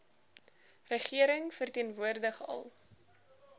regering verteenwoordig al